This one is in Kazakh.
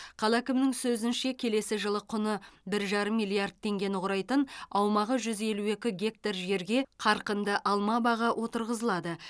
қала әкімінің сөзінше келесі жылы құны бір жарым миллард теңгені құрайтын аумағы жүз елу екі гектар жерге қарқынды алма бағы отырғызылады